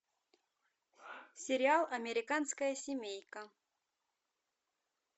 сериал американская семейка